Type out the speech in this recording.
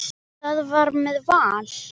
Það var með Val.